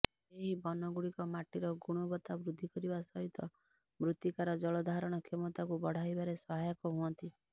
ଏହି ବନ ଗୁଡ଼ିକ ମାଟିର ଗୁଣବତା ବୃଦ୍ଧିକରିବା ସହିତ ମୃତିକାର ଜଳ ଧାରଣ କ୍ଷମତାକୁ ବଢା଼ଇବାରେ ସହାୟକ ହୁଅନ୍ତି